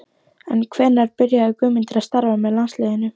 En hvenær byrjaði Guðmundur að starfa með landsliðinu?